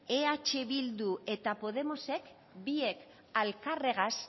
eh bildu eta podemosek biek elkarregaz